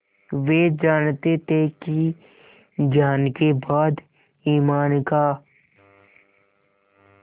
वे जानते थे कि ज्ञान के बाद ईमान का